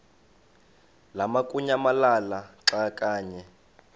lamukunyamalala xa kanye